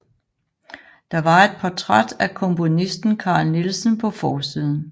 Der var et portræt af komponisten Carl Nielsen på forsiden